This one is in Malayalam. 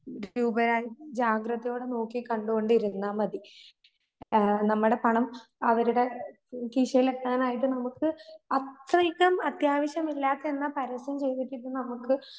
രൂപയായി ജാഗ്രതയോടെ നോക്കികണ്ടോണ്ടിരുന്നാമതി. ആഹ് നമ്മടെ പണം അവരുടെ കീശയിലെത്താനായിട്ട് അത്യാവിശ്യമില്ലാത്ത എന്നാ പരസ്യം ചെയ്‌ത്‌കിട്ടുന്ന നമുക്ക്